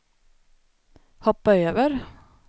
hoppa över